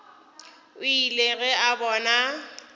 o ile ge a bona